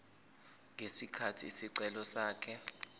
ngesikhathi isicelo sakhe